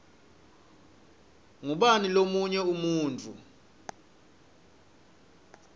ngubani lomunye umuntfu